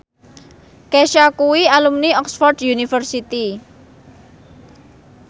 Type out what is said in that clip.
Kesha kuwi alumni Oxford university